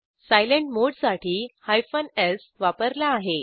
silent मोडसाठी hyphen स् वापरला आहे